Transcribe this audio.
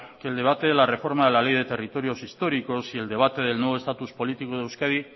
que el debate de la reforma de la ley de territorios históricos y el debate del nuevo estatus político de euskadi